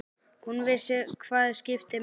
Hún vissi hvað skipti máli.